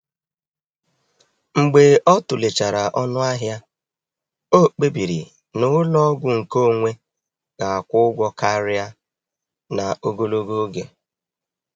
E debere m oge n’abalị a ka m kpochapụ ozi niile fọdụrụ yana azịza.